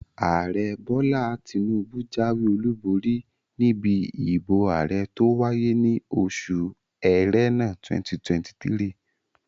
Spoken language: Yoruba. Ààrẹ Bọ́lá Tinúbú jáwé olùborí níbi ìbò ààrẹ tó wáyé ní oṣù Ẹrẹ́nà 2023